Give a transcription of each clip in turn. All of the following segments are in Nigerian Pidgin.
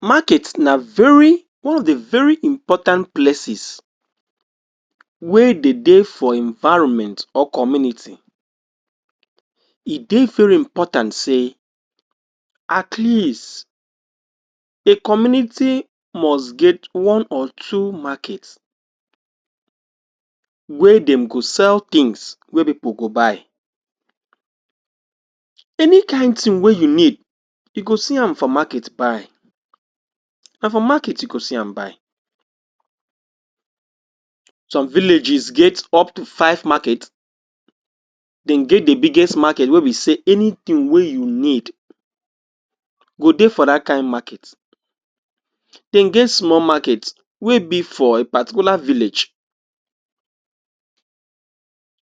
market na very or the very important places wey e de dey for environment or community e dey very important sey at least the community must get one or two market wey dem go sell things wey people go buy any kind thing wey you need you go see am for market buy na for market you go see am buy some villages get up to five market dem get the biggest market wey be sey anything wey you need go dey for dat kind market dem get small market wey be for a particular village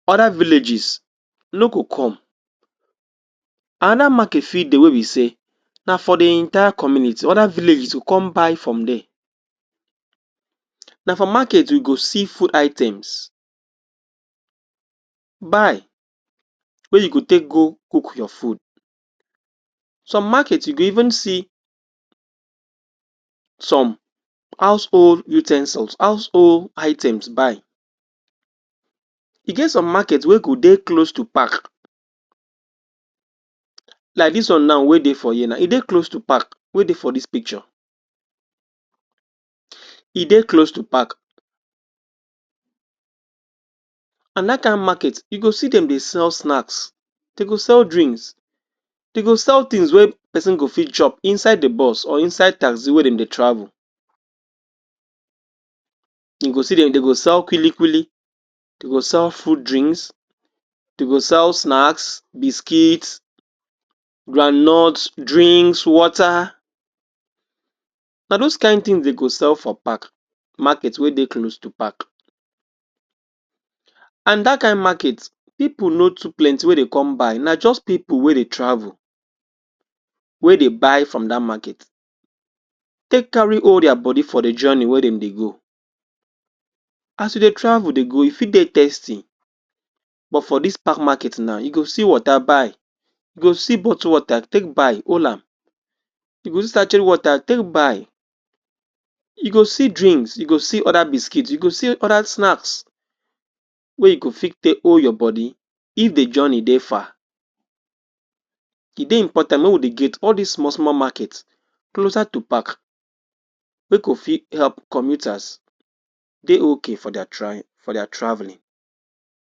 other villages no go come another market fit dey wey be sey na for the entire community other villages to come buy from dem na for market you go see food items buy wey you go take go cook your food some market you go even see some household u ten sils household items buy e get some market wey go dey close to park like dis one now wey dey for here e dey close to park wey dey for dis picture e dey close to park and dat kind market you go see dem dey sell snacks dey go sell drinks dey go sell things wey person go fit chop inside the bus or inside taxi wey dem dey travel you go see dem dey go sell kwili-kwili dey go sell food drinks dey go sell snacks, biscuit groundnut drinks water na those kind thing dey go sell for park market wey dey close to park and that kind market people no too plenty wey dey come buy na just people wey dey travel wey dey buy from dat market take carry all dia body for the journey wey dem dey go as you dey travel dey go you fit dey tasty but for dis park market now you go see water buy you go see bottle water take buy hollam you go see sachet water take buy you go see drinks, you go see other biscuits you go see other snacks wey gou go fit take hold your body if the journey dey far e dey important make we dey get all dis small-small market closer to park make we fit help commuters dey ok for dia travel for dia travelling